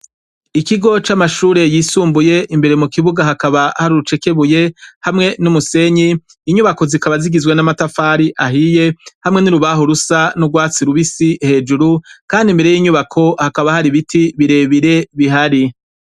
ikigo c'amashure yisumbuye imbere mu kibuga hakaba hari urucekebuye hamwe n'umusenyi inyubako zikaba zigizwe n'amatafari ahiye hamwe n'urubaho rusa n'urwatsi rubisi hejuru kandi imbere y'inyubako hakaba hari biti birebire bihari